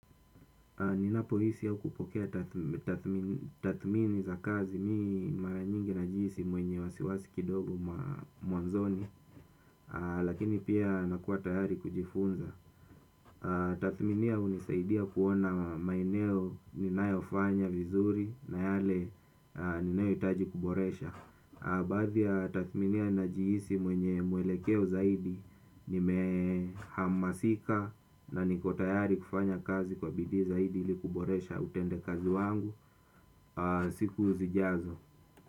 Ninapohisi ya ukupokea tathmini za kazi mi mara nyingi nahisi mwenye wasiwasi kidogo mwanzoni. Lakini pia nakuwa tayari kujifunza. Tathminia hunisaidia kuona maeneo ninayofanya vizuri na yale ninayohitaji kuboresha baadhi ya tathminia najihisi mwenye mwelekeo zaidi. Nime hamasika na niko tayari kufanya kazi kwa bidii zaidi ili kuboresha utende kazi wangu siku zijazo.